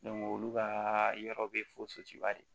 olu ka yɔrɔ bɛ fo de